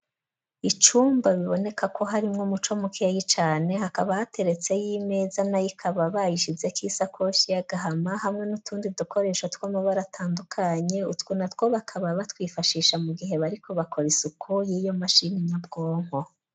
Icumba biboneka ko harimwo umuco mukeyi cane, hakaba hateretseyo imeza, nayo ikaba bayishizeko isakoshi y'agahama hamwe n'utundi dukoresho tw'amabara atandukanye, utwo natwo bakaba batwifashisha mu gihe bariko bakora isuku y'iyo mashini nyabwonko.